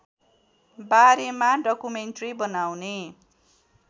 बारेमा डकुमेन्ट्री बनाउने